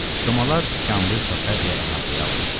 Komalar tikanlı çəpərlə əhatəyə alınmışdı.